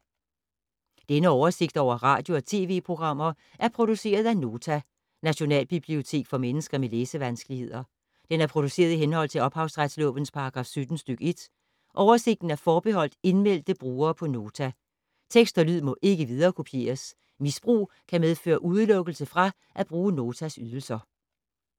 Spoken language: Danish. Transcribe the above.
Denne oversigt over radio og TV-programmer er produceret af Nota, Nationalbibliotek for mennesker med læsevanskeligheder. Den er produceret i henhold til ophavsretslovens paragraf 17 stk. 1. Oversigten er forbeholdt indmeldte brugere på Nota. Tekst og lyd må ikke viderekopieres. Misbrug kan medføre udelukkelse fra at bruge Notas ydelser.